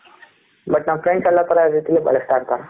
but ನಮ್ಮ friends ಎಲ್ಲ ತರ ರೀತಿಯಲುನು ಬಲಿಸ್ಟ ಅಂತ